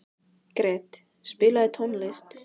Gret, spilaðu tónlist.